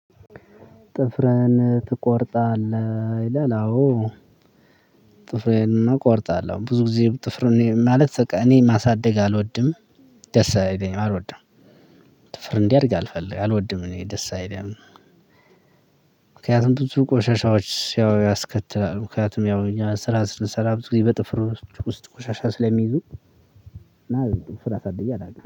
ጥፍርህን ትቆርጣለህ ይላል? አዎ ጥፍሬን እና እቆርጣለሁ ብዙ ጊዜ ጥፍር ማለት በቃ እኔ ማሳደግ አልወድም። ደስ አይለኝም አልወድም ጥፍር እንዲያድግ አልፈልግም አልወድም እኔ ደስ አይለኝም። ምክንያቱም ብዙ ቆሻሻዎች ያው ያስከትላል። ምክንያቱም ያው እኛ ስራ ስለሰላበት ጊዜ በጥፍር ውስጥ ቆሻሻ ስለሚይዙ። ጥፍር አሳድጌ አላውቅም